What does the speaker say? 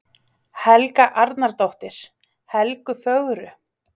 Helga Arnardóttir: Helgu fögru?